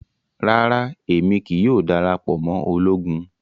Rara Emi kii yoo darapọ mọ ologun